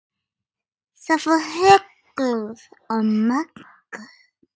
Það fór hrollur um Möggu.